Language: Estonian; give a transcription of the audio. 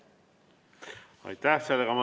Aitäh!